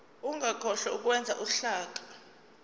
ungakhohlwa ukwenza uhlaka